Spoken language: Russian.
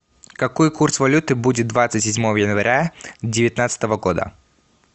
какой курс валюты будет двадцать седьмого января девятнадцатого года